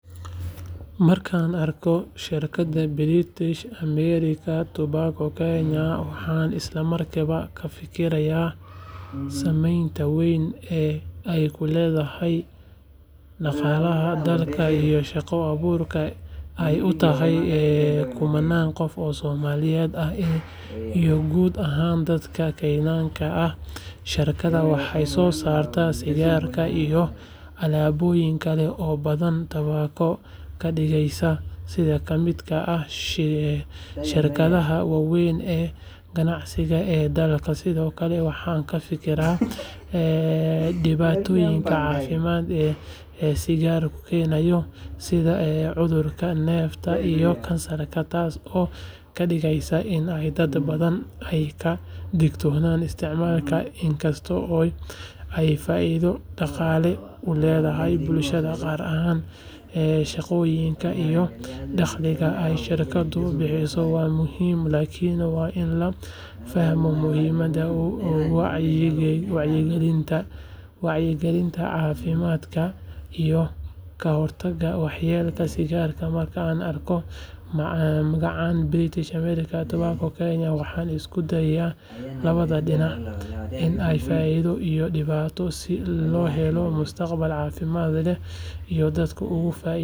Markaan arko shirkadda British American Tobacco Kenya waxaan isla markiiba ka fikiraa saameynta weyn ee ay ku leedahay dhaqaalaha dalka iyo shaqo abuurka ay u tahay kumannaan qof oo Soomaali ah iyo guud ahaan dadka Kenyaanka ah shirkaddan waxay soo saartaa sigaarka iyo alaabooyin kale oo badan taasoo ka dhigaysa mid ka mid ah shirkadaha waaweyn ee ganacsiga ee dalka sidoo kale waxaan ka fikiraa dhibaatooyinka caafimaad ee sigaarka keeno sida cudurrada neefta iyo kansarka taas oo ka dhigaysa in dad badan ay ka digtoonaadaan isticmaalkeeda inkasta oo ay faa’iido dhaqaale u leedahay bulshada qaar shaqooyinka iyo dakhliga ay shirkaddu bixiso waa muhiim laakiin waa in la fahmaa muhiimadda wacyigelinta caafimaadka iyo ka hortagga waxyeelada sigaarka marka aan arko magacaan British American Tobacco Kenya waxaan isku darayaa labada dhinac ee faa’iido iyo dhibaato si loo helo mustaqbal caafimaad leh.